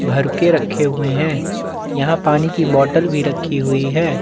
भर के रखे हुए है यहाँ पानी की बोटल भी रखी हुई है।